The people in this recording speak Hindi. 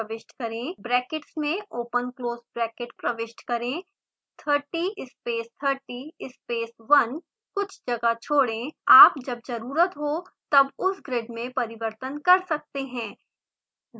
ब्रैकेट्स में ओपन क्लोज़ ब्रैकेट प्रविष्ट करें 30 space 30 space 1 कुछ जगह छोड़ें आप जब ज़रुरत हो तब उस ग्रिड में परिवर्तन कर सकते हैं